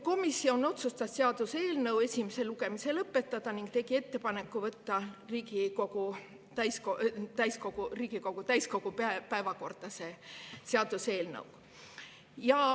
Komisjon otsustas seaduseelnõu esimese lugemise lõpetada ning tegi ettepaneku võtta see seaduseelnõu Riigikogu täiskogu päevakorda.